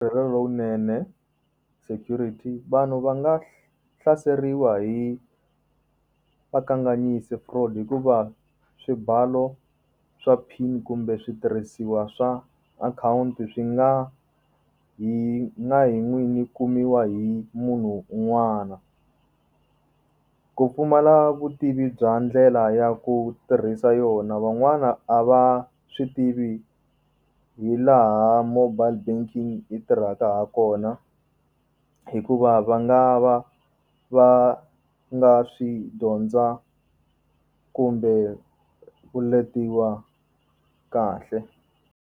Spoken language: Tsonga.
lowunene security vanhu va nga hlaseriwa hi vakanganyisi hikuva swibalo swa PIN kumbe switirhisiwa swa akhawunti swi nga hi nga hi n'wini kumiwa hi munhu un'wana ku pfumala vutivi bya ndlela ya ku tirhisa yona van'wana a va swi tivi hi laha mobile banking tirhaka ha kona hikuva va nga va va nga swi dyondza kumbe u letiwa kahle.